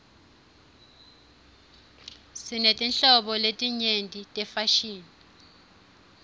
sinetinhlobo letinyenti tefashini